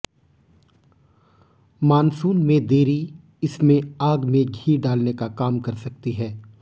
monsoon में देरी इसमें आग में घी डालने का काम कर सकती है